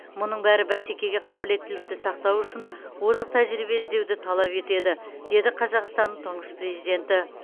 мұның бәрі бәсекеге қабілеттілікті сақтау үшін озық тәжірибе іздеуді талап етеді деді қазақстанның тұңғыш президенті